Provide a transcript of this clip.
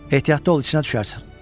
Ehtiyatlı ol, içinə düşərsən.